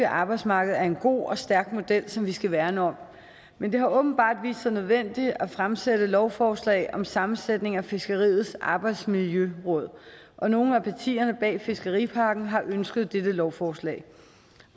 arbejdsmarked er en god og stærk model som vi skal værne om men det har åbenbart vist sig nødvendigt at fremsætte lovforslag om sammensætning af fiskeriets arbejdsmiljøråd og nogle af partierne bag fiskeripakken har ønsket dette lovforslag